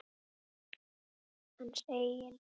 Hans eigin?